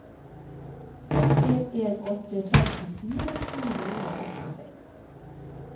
fem en en åtte femtifire sju hundre og åttiseks